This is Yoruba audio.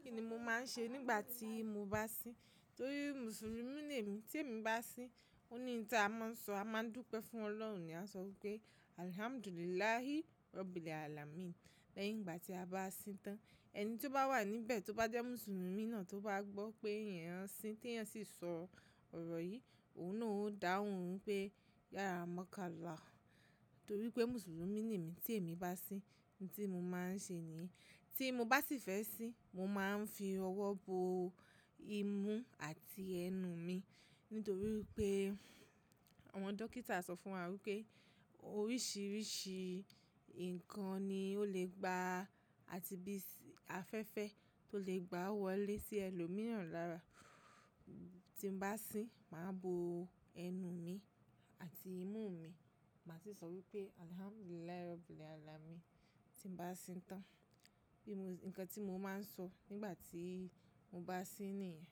Kí ni mo máa ń ṣe nígbà tí mo bá sin? Nítorí Mùsùlùmí ni èmi. Tí èmi bá sin, òní nǹta a máa ń sọ, a máa ń dúpẹ́ fún Ọlọ́run, a máa ń sọ pé "Alhamdulillah rabbil alamin". Lẹ́yìn ìgbà tí a bá sin tán, ẹni tí ó bá wà níbẹ̀ tí ó bá jẹ́ Mùsùlùmí náà tó bá gbọ́ pé ìyẹn ń sin tí ìyẹn sì sọ ọ̀rọ̀ yìí, òun náà ó dáhùn pé "yara makkala". Nítorí pé Mùsùlùmí ni èmi, tí èmi bá sin, ohun tí mo máa ń ṣe ni. Tí mo bá sì fẹ́ sin, mo máa ń fi ọwọ́ bo imú àti ẹnu mi. Nítorí pé àwọn dókítà sọ fún wa wípé oríṣiríṣi ǹkan ni ó lè gba àti bí afẹ́fẹ́ tó lè gba wọlé sí ẹlòmíràn lára. Tí mo bá sin, màá bo ẹnu mi àti imú mi, màá sì sọ wípé "Alhamdulillah rabbil alamin" tí mo bá sin tán. Bí mo-- ǹkan tí mo máa ń sọ nígbà tí mo bá sin nìyẹn.